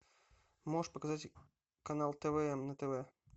можешь показать канал тв на тв